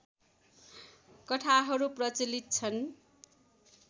कथाहरू प्रचलित छन्